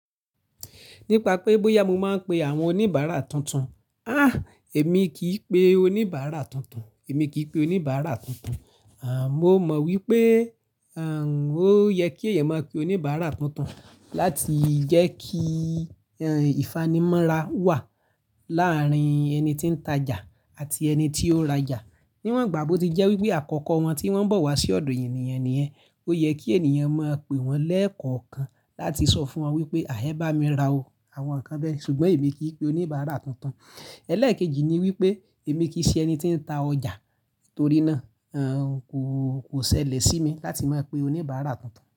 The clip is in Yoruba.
Nípa pé bóyá mo máa ń pe àwọn oníbàárà tuntun. Èmi kì í pe oníbàárà tuntun, èmi kì í pe oníbàárà tuntun. Mo mọ wípé, ó yẹ kí èèyàn máa pe oníbàárà tuntun láti jẹ́ kí, ìfànimọ́ra wà láàárín ẹni tí ń tajà àti ẹni tí ó rajà. Níwọ̀n ìgbà bó ti jẹ́ wípé àkọ́kọ́ wọn tí wọ́n ń bọ̀ wá sí ọ̀dọ̀ ènìyàn ni yẹ́n, ó yẹ kí ènìyàn máa pe wọ́n lẹ́ẹ̀kọ̀kan láti sọ fún wọn wípé "à ẹ́ bá mi ra o", àwọn nǹkan bẹ́ẹ̀. Ṣùgbọ́n èmi kì í pe oníbàárà tuntun. Ẹ̀lẹ́ẹ̀kejì ni wípé èmi kì í ṣe ẹni tí ń ta ọjà, torí náà, kò, kò ṣẹlẹ̀ sí mi láti máa pe oníbàárà tuntun.